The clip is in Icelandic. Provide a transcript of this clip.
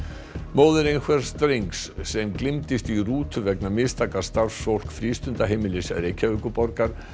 móðir drengs sem gleymdist í rútu vegna mistaka starfsfólks frístundaheimilis Reykjavíkurborgar